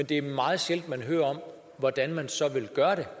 det er meget sjældent vi hører om hvordan man så vil